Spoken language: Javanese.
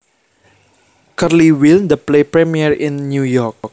Curly Will the play premiere in New York